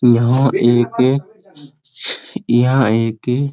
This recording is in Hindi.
यहां एके यहां एके --